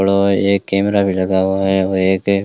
एक कैमरा भी लगा हुआ है और एक--